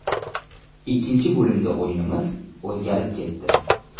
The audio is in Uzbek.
Ikkinchi bo‘limda o‘yinimiz o‘zgarib ketdi.